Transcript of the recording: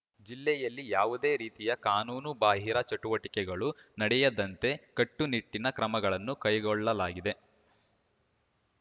ಜಿಲ್ಲೆಯಲ್ಲಿ ಯಾವುದೇ ರೀತಿಯ ಕಾನೂನು ಬಾಹಿರ ಚಟುವಟಿಕೆಗಳು ನಡೆಯದಂತೆ ಕಟ್ಟುನಿಟ್ಟಿನ ಕ್ರಮಗಳನ್ನು ಕೈಗೊಳ್ಳಲಾಗಿದೆ